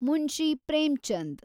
Munshi Premchand